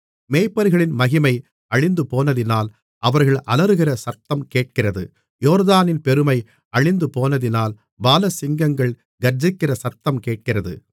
மேய்ப்பர்களின் மகிமை அழிந்துபோனதினால் அவர்கள் அலறுகிற சத்தம் கேட்கிறது யோர்தானின் பெருமை அழிந்துபோனதினால் பாலசிங்கங்கள் கர்ச்சிக்கிற சத்தம் கேட்கிறது